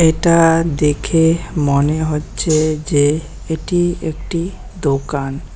এটা দেখে মনে হচ্ছে যে এটি একটি দোকান।